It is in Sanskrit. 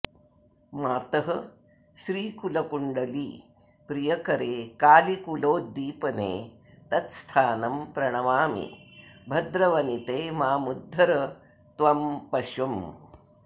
मातः श्रीकुलकुण्डली प्रियकरे कालीकुलोद्दीपने तत्स्थानं प्रणमामि भद्रवनिते मामुद्धर त्वं पशुम्